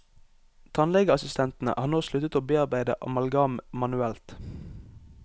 Tannlegeassistentene har nå sluttet å bearbeide amalgam manuelt.